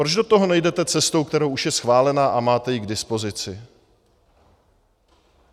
Proč do toho nejdete cestou, která už je schválená a máte ji k dispozici?